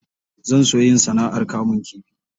Zan so yin sana'ar kamun kifi.